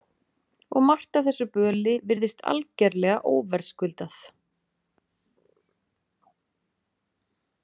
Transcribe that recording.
Og margt af þessu böli virðist algerlega óverðskuldað.